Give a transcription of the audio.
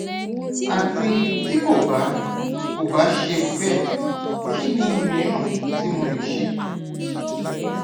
ati ti ko ba ko ba ṣe bẹ kini miiran ti mo le ṣe